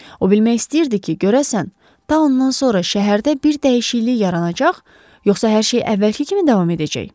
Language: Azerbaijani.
O bilmək istəyirdi ki, görəsən, tadan sonra şəhərdə bir dəyişiklik yaranacaq, yoxsa hər şey əvvəlki kimi davam edəcək?